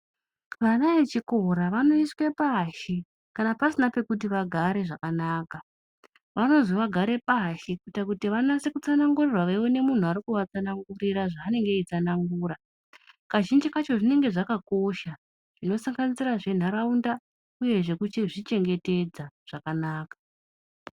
Vana echikora vanoiswa pashi kanan pasina pekugara zvakanaka vanozi vagare pashi kuti vatsanangurirwe veiona muntu unenge eivatsanangurira zvanenge eiita kazhinji kacho zvinenge zvakakosha zveisanganisira zvendaraunda uye zvekuzvichengetedza zvakanaka.